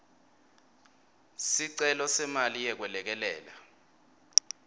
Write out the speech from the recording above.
sicelo semali yekwelekelela